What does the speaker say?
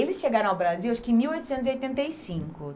Eles chegaram ao Brasil, acho que em mil oitocentos e oitenta e cinco.